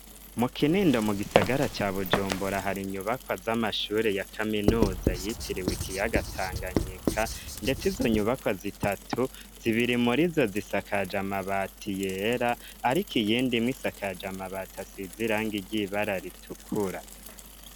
Mu kinindo mu gisagara ca bujumbura hari inyubakwa z'amashuri ya kaminuza yitiriwe ikiyaga Tanganyika ndetse izo nyubakwa zitatu zibiri muri zo zisakaje amabati yera ariko iyindi imwe isakaje amabati asize iranga ry' ibara ritukura.